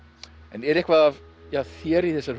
en er eitthvað af þér í þessari